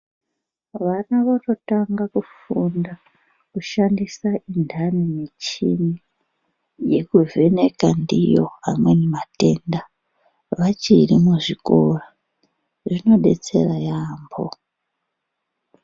Vana vanotanga kufunda kushandisa mindani Yekuvheneka ndiwo amweni matenda vachiri kuzvikora izvi zvinodetsera yambo.